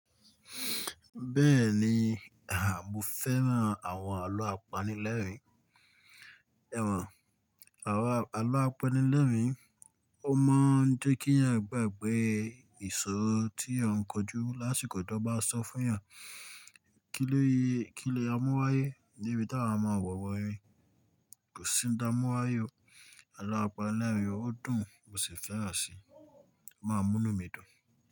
Bẹ́ẹ̀ni, à mo fẹ́ràn àwọn àlọ́ apanilẹ́rìn-ín. Ẹ̀wọ̀n, àwọn àlọ́ apanilẹ́rìn-ín ó máa ń jẹ́ kí èèyàn gbàgbé ìṣòro tí èyàn n kojú lásìkò tan bá sọ fún èèyàn. Kílé, kílé amúwáye debi tá wa máa wẹwu írin. Kòsi n taa mú wáyé o. Àlọ́ apanilẹ́rìn-ín ó dùn, mo sì fẹ́ràn si, o máa n múnu mi dùn.